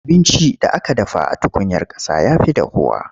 Abincin da aka dafa a tukuyar ƙasa ya fi dahuwa.